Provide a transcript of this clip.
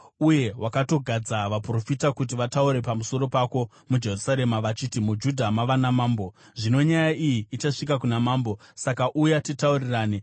Uye wakatogadza vaprofita kuti vataure pamusoro pako muJerusarema vachiti: ‘MuJudha mava namambo!’ Zvino nyaya iyi ichasvika kuna mambo, saka uya titaurirane.”